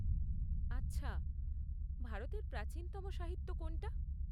আচ্ছা। ভারতের প্রাচীনতম সাহিত্য কোনটা?